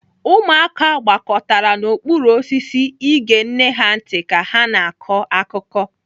Ụmụaka gbakọtara n'okpuru osisi ege nne ha ntị ka ha na-akọ akụkọ.